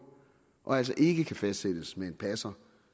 og altså ikke kan fastsættes med en passer